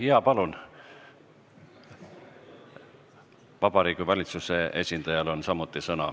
Sõna on ka Vabariigi Valitsuse esindajal.